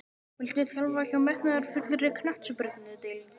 Viltu þjálfa hjá metnaðarfullri knattspyrnudeild?